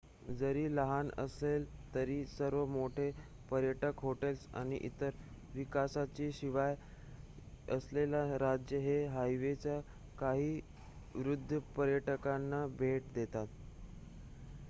जरी लहान असले तरी सर्व मोठे पर्यटक हॉटेल्स आणि इतर विकासाशिवाय असलेले राज्य हे हवाईच्या काही वृद्ध पर्यटकांना भेट देतात